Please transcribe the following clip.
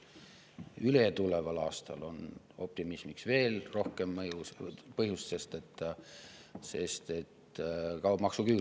Ületuleval aastal on optimismiks veel rohkem põhjust, sest kaob maksuküür.